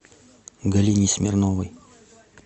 галине смирновой